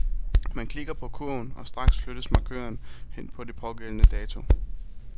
Man klikker på kurven, og straks flyttes markøren hen på den pågældende dato.